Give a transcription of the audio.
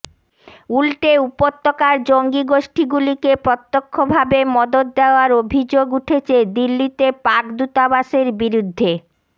উল্টে উপত্যকার জঙ্গি গোষ্ঠীগুলিকে প্রত্যক্ষ ভাবে মদত দেওয়ার অভিযোগ উঠেছে দিল্লিতে পাক দূতাবাসের বিরুদ্ধে